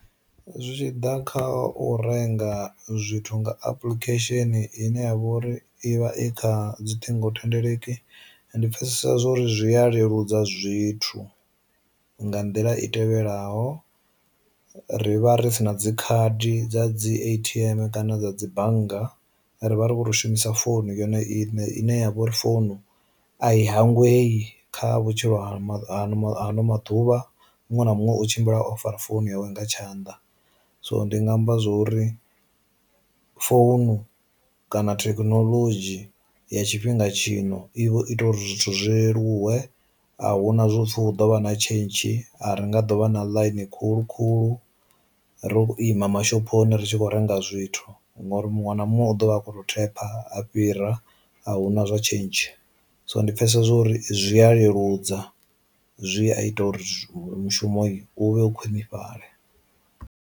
Zwi tshi ḓa kha u renga zwithu nga application ine ya vha uri ivha i kha dzi ṱhingo thendeleki ndi pfesesa uri zwi a leludza zwithu nga nḓila i tevhelaho, ri vha ri si na dzi khadi dza dzi atm kana dza dzi bannga, ri vha ri khou ri shumisa founu yanu i ine ya vha uri founu a i hangwei kha vhutshilo ha han hano maḓuvha muṅwe na muṅwe u tshimbila o fara founu yawe nga tshanḓa. So ndinga amba zwori founu kana thekinoḽodzhi ya tshifhinga tshino i vho ita uri zwithu zwi leluwe, a hu na zwopfi hu ḓo vha na tshentshi a ri nga ḓo vha na ḽine khulu khulu ro lu ima mashophoni ritshi kho renga zwithu ngori muṅwe na muṅwe u ḓovha a kho to thepha a fhira a hu na zwa tshentshi, so ndi pfesesa uri zwi a leludza zwi a ita uri mushumo u vhe u khwinifhale.